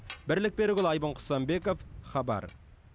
бірлік берікұлы айбын құсанбеков хабар